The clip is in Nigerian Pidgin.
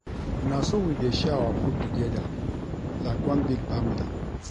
Na so we dey share our food togeda like one big family.